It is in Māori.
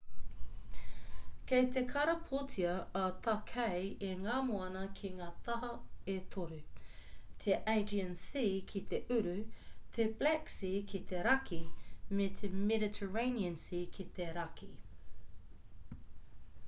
kei te karapotia a tākei e ngā moana ki ngā taha e toru te aegean sea ki te uru te black sea ki te raki me te mediterranean sea ki te raki